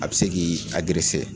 A bi se k'i agerese